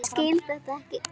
Ég skil þetta ekki!